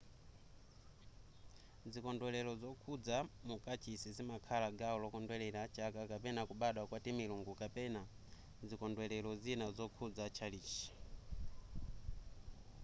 zikondwelero zokhudza mu kachisi zimakhala gawo lokondwelera chaka kapena kubadwa kwa timilungu kapena zikondwelero zina zokhudza tchalitchi